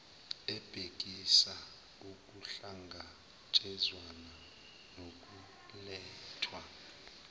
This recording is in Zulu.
ebhekisisa ukuhlangatshezwana nokulethwa